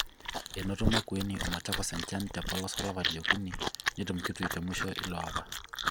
Enoto Makueni o Machakos enchan te polos olapa liokuni netum Kitui temusho ilo apa.